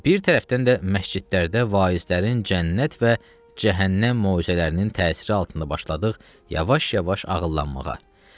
Və bir tərəfdən də məscidlərdə vaizlərin cənnət və cəhənnəm moizələrinin təsiri altında başladıq yavaş-yavaş ağıllanmağa.